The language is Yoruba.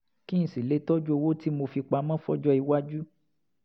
kí n sì lè tọjú owó tí mo fi pamọ́ fọ́jọ́-iwájú